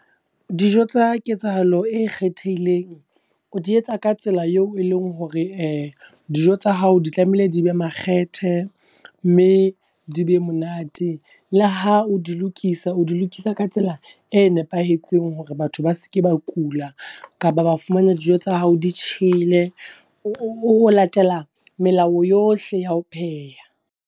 Dijo tsa ketsahalo e kgethehileng o di etsa ka tsela eo e leng hore dijo tsa hao di tlamehile di be makgethe, mme di be monate la ha o di lokisa. O di lokisa ka tsela e nepahetseng hore batho ba se ke ba kula, kapa ba fumana dijo tsa hao di tjhele o latela melao yohle ya ho pheha.